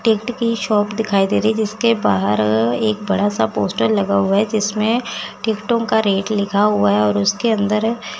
की शॉप दिखाई दे रही जिसके बाहर एक बड़ा सा पोस्टर लगा हुआ है जिसमें टिकटो का रेट लिखा हुआ है और उसके अंदर--